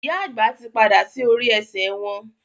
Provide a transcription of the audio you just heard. ìyá àgbà tí pàdà sí orí esè wón.